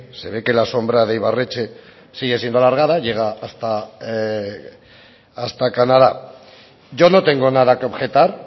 se ve que la sombra de ibarretxe sigue siendo alargada llega hasta canadá yo no tengo nada que objetar